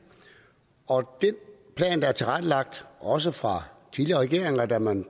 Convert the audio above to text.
og den plan der er tilrettelagt også fra tidligere regeringer da man